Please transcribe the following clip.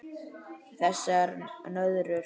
Þessar nöðrur!